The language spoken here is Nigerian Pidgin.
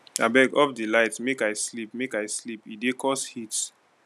abeg off di light make i sleep make i sleep e dey cause heat